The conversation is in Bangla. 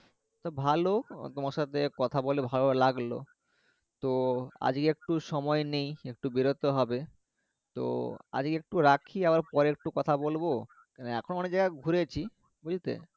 তা ভালো তোমার সাথে কথা বলে ভালো লাগলো তো আজকে একটুও সময় নেই একটু বেরতে হবে তো আজকে একটু রাখি আবার পরে একটু কথা বলবো এখন অনেক জায়গায় ঘুরেছি